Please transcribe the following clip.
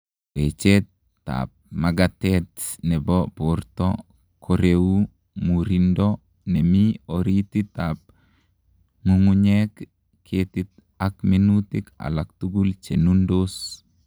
Wechet ap makatet nepo borto koreu murindo nemii oritit ap ngungunyek, ketik ak minutik alak tugul chenundos .